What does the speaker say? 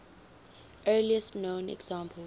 earliest known examples